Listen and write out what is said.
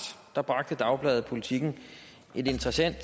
bragte dagbladet politiken et interessant